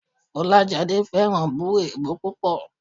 Fọláṣadé fẹ́ràn bù èébú púpọ̀